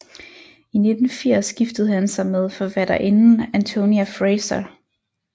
I 1980 giftede han sig med forfatterinden Antonia Fraser